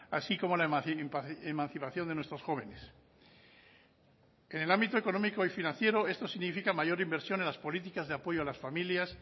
así como la emancipación de nuestros jóvenes en el ámbito económico y financiero esto significa mayor inversión en las políticas de apoyo a las familias